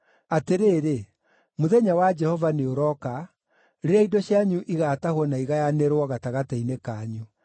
Atĩrĩrĩ, mũthenya wa Jehova nĩũrooka, rĩrĩa indo cianyu igaatahwo na igayanĩrwo gatagatĩ-inĩ kanyu.